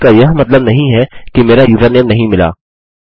इसका यह मतलब नहीं है कि मेरा यूज़रनेम नहीं मिला